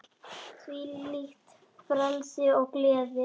Þvílíkt frelsi og gleði.